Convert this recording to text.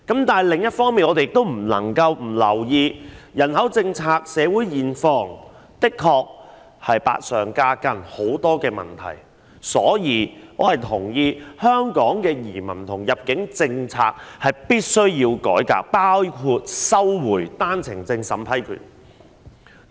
但是，另一方面，我們也不能不留意人口政策，因為社會現況的確是百上加斤，有很多問題，所以我同意必須改革香港的移民和入境政策，包括收回單程證審批權。